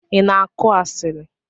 Ina akụ asili?